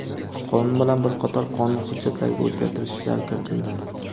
Qonun bilan bir qator qonun hujjatlariga o‘zgartirishlar kiritildi.